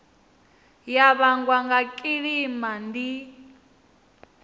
ya vhangwa nga kilima ndi